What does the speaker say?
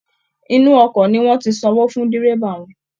Inú ọkọ̀ ni wọ́n ti sanwó fún dẹ́rẹ́bà wọn